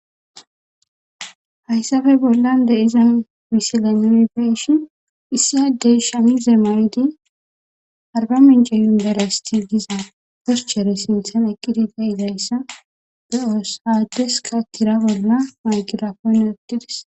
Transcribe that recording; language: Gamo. Haysafe bollan de'iza misilean nu be'ashen issi adey shamiza mayoti arbamiche university giza picture sinthan eqidi de'izaysa lo'o hesa adeskka tira bolla maygirapone oykides